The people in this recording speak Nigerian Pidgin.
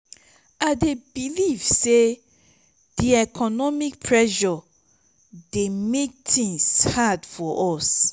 i dey believe say di economic pressures dey make tings hard for us.